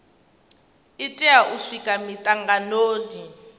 i tea u swika mitanganoni